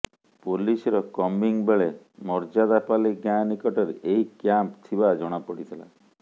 ପୋଲିସର କମ୍ବିଂ ବେଳେ ମର୍ଯ୍ୟାଦାପାଲି ଗାଁ ନିକଟରେ ଏହି କ୍ୟାମ୍ପ ଥିବା ଜଣାପଡିଥିଲା